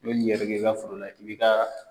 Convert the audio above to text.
I be nin yɛrɛkɛ i ka foro la, i bi ka